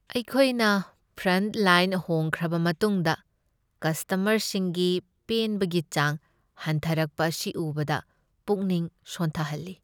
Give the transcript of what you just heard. ꯑꯩꯈꯣꯏꯒꯤ ꯐ꯭ꯔꯟꯠꯂꯥꯏꯟ ꯍꯣꯡꯈ꯭ꯔꯕ ꯃꯇꯨꯡꯗ ꯀꯁꯇꯃꯔꯁꯤꯡꯒꯤ ꯄꯦꯟꯕꯒꯤ ꯆꯥꯡ ꯍꯟꯊꯔꯛꯄ ꯑꯁꯤ ꯎꯕꯗ ꯄꯨꯛꯅꯤꯡ ꯁꯣꯟꯊꯍꯜꯂꯤ꯫